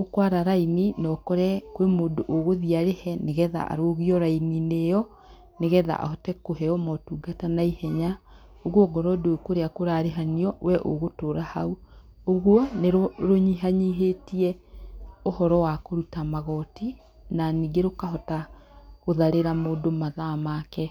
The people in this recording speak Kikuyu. ũkũara raini, na ũkore kwĩ mũndũ ũgũthiĩ arĩhe, nĩgetha arũgio raini-inĩ ĩyo nĩgetha ahote kũheo motungata naihenya. Ũguo ongorũo ndũĩ kũrĩa kũrarĩhanio, we ũgũtũra hau. Ũguo nĩ rũnyihanyihĩtie ũhoro wa kũruta magoti na ningĩ rũkahota gũtharĩra mũndũ mathaa make.